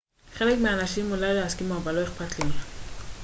חלק מהאנשים אולי לא יסכימו אבל לא אכפת לי